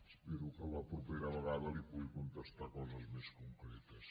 espero que la propera vegada li pugui contestar coses més concretes